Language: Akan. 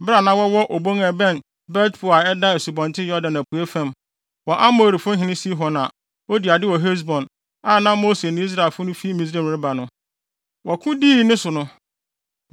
bere a na wɔwɔ obon a ɛbɛn Bet-Peor a ɛda Asubɔnten Yordan apuei fam, wɔ Amorifo hene Sihon a odii ade wɔ Hesbon, a na Mose ne Israelfo no fi Misraim ɛreba no, wɔko dii ne so no.